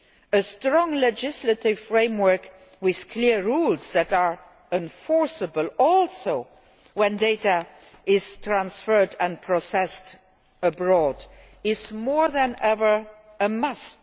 A strong legislative framework with clear rules that are enforceable also when data is transferred and processed abroad is, more than ever, a